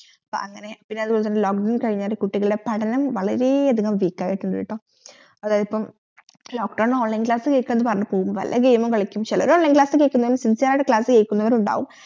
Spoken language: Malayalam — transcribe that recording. അങ്ങനെ കുട്ടികളുടെ പഠനം വളരെ അതികം weak ആയിട്ടുണ്ട് കേട്ടോ അതിപ്പം lock down online class കേൽകാൻ പറഞ്ഞിട്ട് പോകും വല്ല game ഉം കളിക്കും ചേലോവർ online കേൾക്കും sincere ആയിട്ട് class കേൽക്കുന്നവരുമുണ്ടാകും